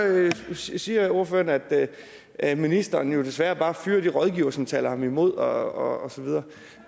så siger ordføreren at ministeren jo desværre bare fyrer de rådgivere som taler ham imod og så videre